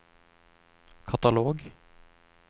katalog